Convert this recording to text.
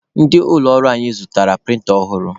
Ndị ụlọ ọrụ anyị zụtara prịnta ọhụrụ.